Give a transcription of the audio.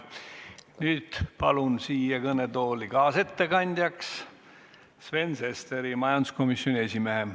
Nüüd palun siia kõnetooli kaasettekandjaks Sven Sesteri, majanduskomisjoni esimehe.